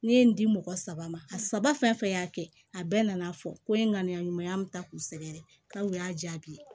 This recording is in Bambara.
Ne ye n di mɔgɔ saba ma a saba fɛn fɛn y'a kɛ a bɛɛ nana fɔ ko n ye ŋaniya ɲuman ta k'u sɛgɛrɛ k'aw y'a jaabi